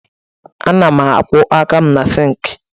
Ana m akwọ aka na sịịnkị